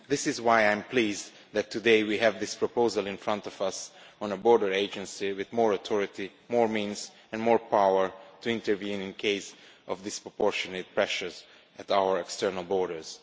That is why I am pleased that today we have this proposal in front of us on a border agency with more authority, more means and more power to intervene in the event of disproportionate pressures at our external borders.